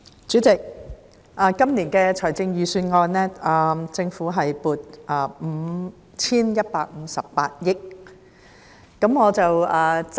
主席，就今年的財政預算案，政府共撥款 5,158 億元。